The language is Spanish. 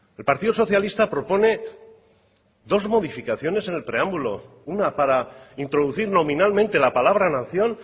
el partido socialista propone dos modificaciones en el preámbulo una para introducir nominalmente la palabra nación